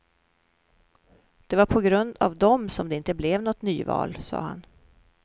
Det var på grund av dem som det inte blev något nyval, sa han.